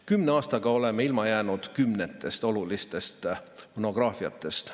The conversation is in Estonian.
Kümne aastaga oleme ilma jäänud kümnetest olulistest monograafiatest.